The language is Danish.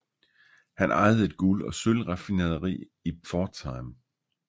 Han ejede et guld og sølv raffinaderi i Pforzheim